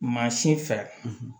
Maa si fɛ